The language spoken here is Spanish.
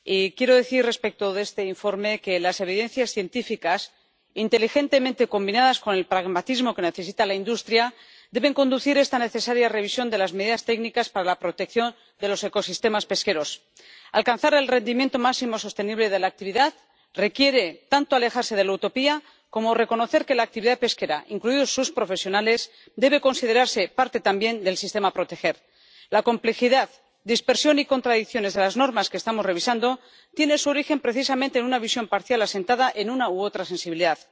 Quiero decir, respecto de este informe, que las evidencias científicas inteligentemente combinadas con el pragmatismo que necesita la industria deben conducir esta necesaria revisión de las medidas técnicas para la protección de los ecosistemas pesqueros. Alcanzar el rendimiento máximo sostenible de la actividad requiere tanto alejarse de la utopía como reconocer que la actividad pesquera, incluidos sus profesionales, debe considerarse parte también del sistema que hay que proteger. La complejidad, dispersión y contradicciones de las normas que estamos revisando tienen su origen precisamente en una visión parcial asentada en una u otra sensibilidad.